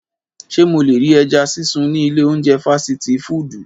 Ṣe mo le ri ẹja sisun ni ile ounjẹ fasiti fudu?